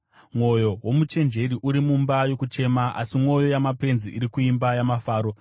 Mwoyo womuchenjeri uri mumba yokuchema, asi mwoyo yamapenzi iri kuimba yamafaro.